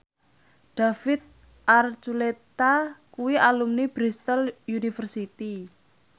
David Archuletta kuwi alumni Bristol university